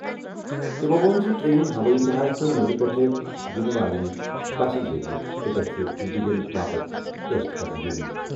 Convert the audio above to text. تِمَو ووٚن زِ ٹرین، ہوٲئی جہاز، تہٕ نٮ۪برٕ پٮ۪ٹھٕ یِنہٕ والیٚن بسہِ ذریعہٕ تہِ گژھہِ اینٹیجن باپتھ ٹیسٹ کرنہٕ یُن۔